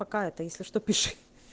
пока эта если что пиши